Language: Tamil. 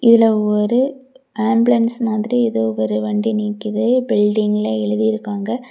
இதுல ஒரு ஆம்புலன்ஸ் மாதிரி ஏதோ ஒரு வண்டி நிக்குது பில்டிங்ல எழுதி இருக்காங்க.